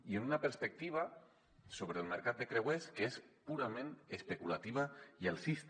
i amb una perspectiva sobre el mercat de creuers que és purament especulativa i alcista